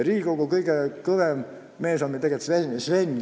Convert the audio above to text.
Riigikogu kõige kõvem mees on meil tegelikult Sven.